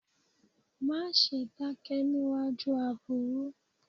Má ṣe dákẹ́ níewájú aburú.